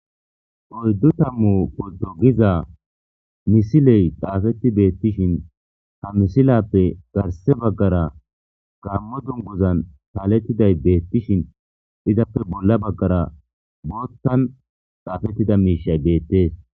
Oyddu tammu polto giza misiley xaafetti beettishin ha misilappe garse baggara gammo dungozan taalettiday beettishin izappe bolla baggara boottan xaafettida miishay beettees.